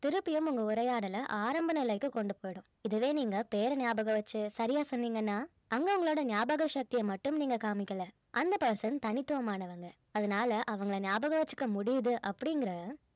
திருப்பியும் உங்க உரையாடல ஆரம்ப நிலைக்கு கொண்டு போயிடும் இதுவே நீங்க பெயரை ஞாபகம் வெச்சு சரியா சொன்னீங்கன்னா அங்க உங்களோட ஞாபக சக்திய மட்டும் நீங்க காமிக்கல அந்த person தனித்துவமானவங்க அதனால அவங்கள ஞாபகம் வெச்சிக்க முடியுது அப்படிங்கற